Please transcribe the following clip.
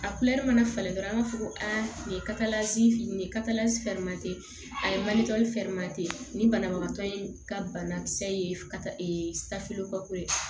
A mana falen dɔrɔn an b'a fɔ ko aa nin ye ye a ye nin banabagatɔ in ka banakisɛ ye ka ee